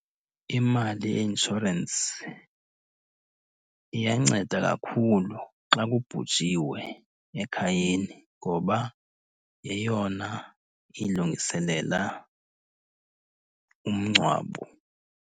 Imali ye inshorensi iyanceda kakhulu xa kubhujiwe ekhayeni ngoba yeyona ilungiselela umngcwabo.